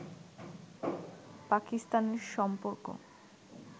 পাকিস্তানের সম্পর্ক